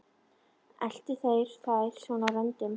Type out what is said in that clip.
Eltu þeir þær svona á röndum?